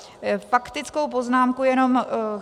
Faktickou poznámku jenom.